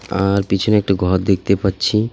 আর পিছনে একটা ঘর দেখতে পাচ্ছি।